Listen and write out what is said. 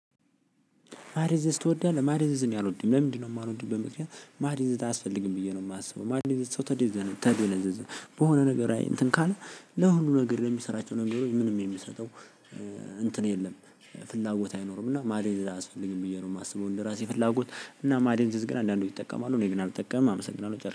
ማደንዘዝ ትወዳለህ ማደንዘዝ እኔ አልወድም። ለምንድነው? የማልወደው በምክንያት ማደንዘዝ አያስፈልግም ብዬ ነው የማስበው። ማደንዘዝ ቶታሊ ተደይዘን ተደይዘን በሆነ ነገር እንትን ካልን ለሁሉ ነገር ለሚሰራቸው ነገሮች ምንም የሚሰጠው እንትን የለም። ፍላጎት አይኖርም እና ማደንዘዝ አያስፈልግም ብዬ ነው የማስበው። እንደራሴ ፍላጎት እና ማደንዘዝ ግን አንዳንዶቹ ይጠቀማሉ እኔ ግን አልጠቀምም። አመሰግናለሁ ጨርሻለው